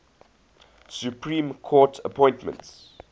supreme court appointments